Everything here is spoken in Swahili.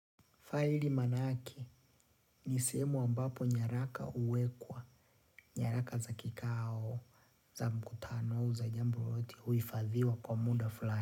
Faili maanake ni sehemu ambapo nyaraka huwekwa, nyaraka za kikao, za mkutano, au jambo lolote huhifadhiwa kwa muda fulani.